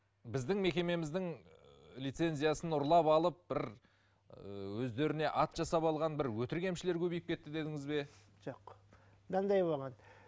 біздің мекемеміздің лицензиясын ұрлап алып бір ыыы өздеріне ат жасап алған бір өтірік емшілер көбейіп кетті дедіңіз бе жоқ мынандай болған